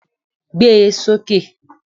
Gbé e sókè!